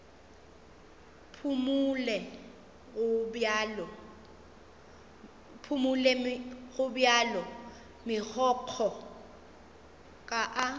phumole gobjalo megokgo ka a